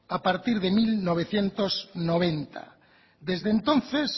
a partir de mil novecientos noventa desde entonces